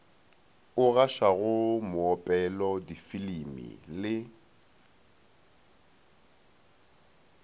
o gašwago moopelo difilimi le